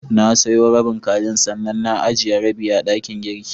Na soya rabin kajin, sannan na ijiye rabi a dakin girki.